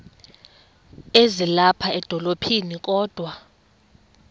ezilapha edolophini kodwa